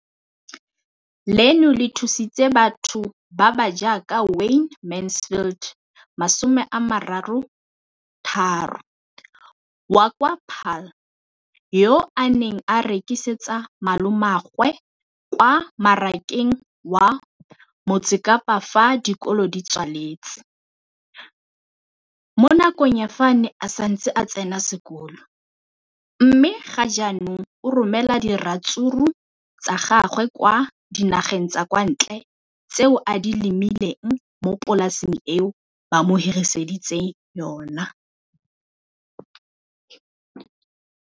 Leno le thusitse batho ba ba jaaka Wayne Mansfield, 33, wa kwa Paarl, yo a neng a rekisetsa malomagwe kwa Marakeng wa Motsekapa fa dikolo di tswaletse, mo nakong ya fa a ne a santse a tsena sekolo, mme ga jaanong o romela diratsuru tsa gagwe kwa dinageng tsa kwa ntle tseo a di lemileng mo polaseng eo ba mo hiriseditseng yona.